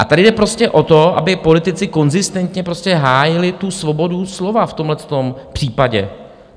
A tady jde prostě o to, aby politici konzistentně prostě hájili tu svobodu slova v tomto případě.